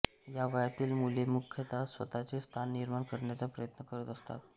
या वयातील मुले मुख्यतः स्वतःचे स्थान निर्माण करण्याचा प्रयत्न करत असतात